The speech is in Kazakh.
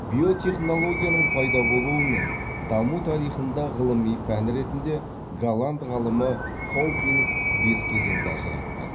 биотехнологияның пайда болуы мен даму тарихында ғылыми пән ретінде голланд ғалымы хауфинк бес кезеңді ажыратты